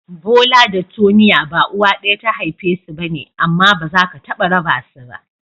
Bola da Tonia ba uwa ɗaya ta haife su ba ne amma ba za ka taɓa raba su ba.